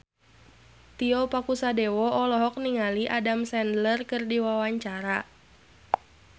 Tio Pakusadewo olohok ningali Adam Sandler keur diwawancara